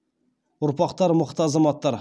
ұрпақтары мықты азаматтар